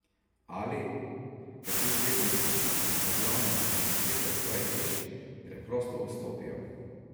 Ali, ker ti zvezdniki očitno v glavnem ne zaklepajo svojih hiš, preprosto vstopijo.